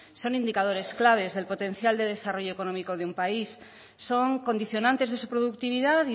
son indicadores claves es el potencial de desarrollo económico de un país son condicionantes de su productividad